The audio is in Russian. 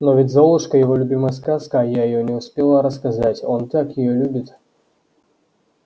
но ведь золушка его любимая сказка а я её не успела рассказать он так её любит